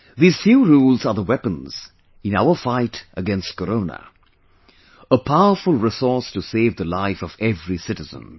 These few rules are the weapons in our fight against Corona, a powerful resource to save the life of every citizen